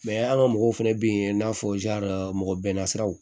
an ka mɔgɔw fana bɛ yen i n'a fɔ mɔgɔ bɛnna siraw